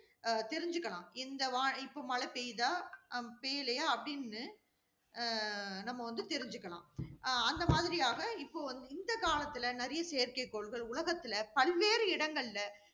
அஹ் தெரிஞ்சிக்கலாம். இந்த வானி~ இப்ப மழை பெய்யுதா ஹம் பெய்யலயா அப்படின்னு ஆஹ் நம்ம வந்து தெரிஞ்சுக்கலாம். அஹ் அந்த மாதிரியாக, இப்ப வந்து இந்த காலத்தில நிறைய செயற்கைக்கோள்கள் உலகத்துல பல்வேறு இடங்கள்ல